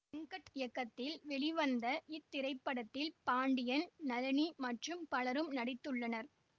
வெங்கட் இயக்கத்தில் வெளிவந்த இத்திரைப்படத்தில் பாண்டியன் நளினி மற்றும் பலரும் நடித்துள்ளனர்